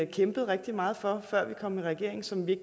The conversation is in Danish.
kæmpede rigtig meget for før vi kom i regering som vi